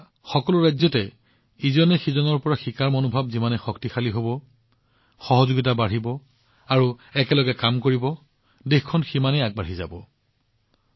আমাৰ সকলো ৰাজ্যতে পৰস্পৰে পৰস্পৰৰ পৰা শিকিবলৈ সহযোগিতা কৰিবলৈ আৰু একেলগে কাম কৰাৰ মনোভাৱ যিমানে শক্তিশালী হব দেশখন সিমানেই আগবাঢ়ি যাব